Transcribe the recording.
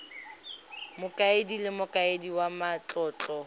mokaedi le mokaedi wa matlotlo